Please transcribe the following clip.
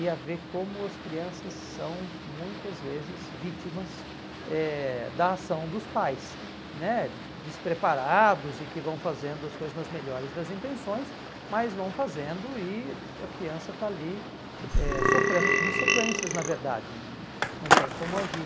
e a ver como as crianças são muitas vezes vítimas eh da ação dos pais, aham, né despreparados e que vão fazendo as coisas nas melhores das intenções, mas vão fazendo e a criança está ali sofrendo eh consequências, na verdade, não não tem como agir.